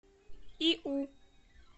иу